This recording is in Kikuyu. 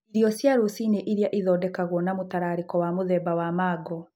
Irio cia rũcinĩ nĩ iria ithondekagwo na mũtararĩko wa mũthemba wa mango.